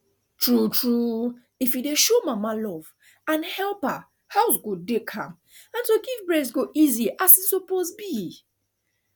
tru tru if you dey show mama love and help her house go calm and to give breast go easy as e suppose be